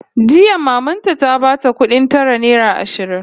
Jiya maman ta ta bata kudin tara naira ashirin